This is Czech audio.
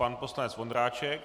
Pan poslanec Vondráček.